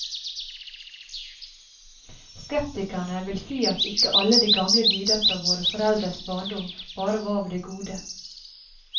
Skeptikerne vil si at ikke alle de gamle dyder fra våre foreldres barndom bare var av det gode.